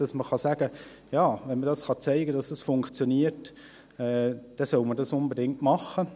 Wenn man sagen und zeigen kann, dass dies funktioniert, dann soll man dies unbedingt machen.